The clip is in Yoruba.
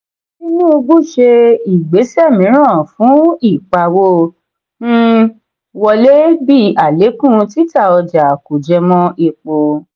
tinubu ṣe ìgbésẹ míràn fún ìpawó um wọlé bí alekun títà ọjà kò jẹmọ́ èpo.